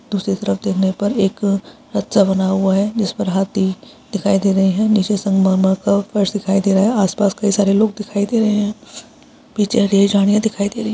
दूसरी तरफ देखने पर एक अच्छा बना हुआ है जिस पर हाथी दिखाई दे रहे है नीचे संगमरमर का फर्श दिखाई दे रहा है आस-पास कई सारे लोग दिखाई दे रहे है पीछे ग्रे जालियां दिखाई दे रही--